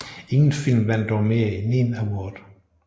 Ingen film vandt dog mere end én award